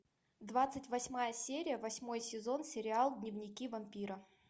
двадцать восьмая серия восьмой сезон сериал дневники вампира